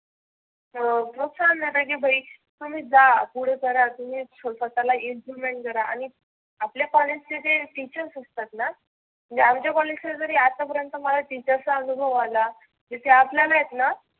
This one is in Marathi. अं नुक्सान झाल की भाई तुम्ही जा पुढे करा तुम्ही स्वतः करा आणि आपल्या कॉलेज चे जे टीचर्स असतातना आमच्या कॉलेज जरी आता अपर्यंत मला टीचर्स चा अनुभव आला. त्या आपल्या नाहीत हं.